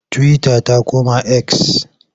Tiwita ta koma eks.